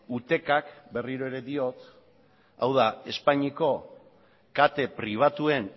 utecak berriro ere diot hau da espainiako kate pribatuen